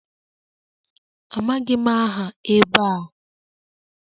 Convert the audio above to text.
Amaghị m aha ebe a